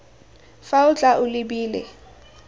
fa o tla o lebile